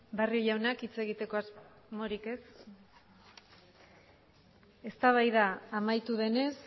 barrio jaunak hitz egiteko asmorik ez eztabaida amaitu denez